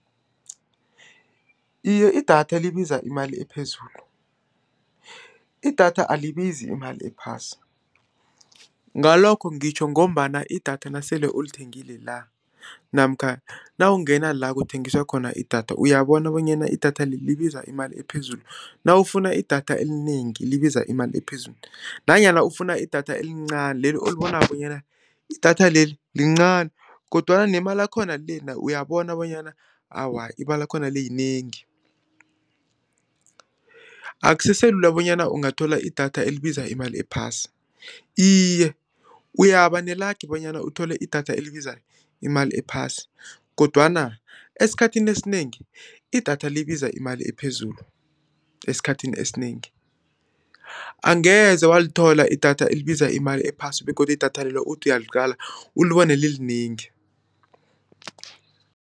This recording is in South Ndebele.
Iye, idatha libiza imali ephezulu, idatha alibizi imali ephasi, ngalokho ngitjho ngombana idatha nasele ulithengile la, namkha nawungena la, kuthengiswa khona idatha, uyabona bonyana idatha leli, libiza imali ephezulu. Nawufuna idatha elinengi libiza imali ephezulu, nanyana ufuna idatha elincani leli ulibona bonyana idatha leli, lincani, kodwana nemalakhona lena uyabona bonyana awa, imalakhona le, yinengi. Akusese lula bonyana ungathola idatha elibiza imali ephasi, iye, uyaba nelangi bonyana uthole idatha elibiza imali ephasi, kodwana esikhathini esinengi, idatha libiza imali ephezulu. esikhathini esinengi. Angeze walithola idatha elibiza imali ephasi, begodu idatha lelo, uthi uyaliqala ulibone lilinengi.